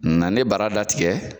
Nanen bara datigɛ